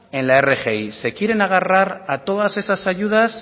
en la rgi se quieren agarrar a todos esas ayudas